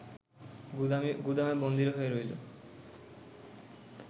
গুদামে বন্দী হয়ে রইল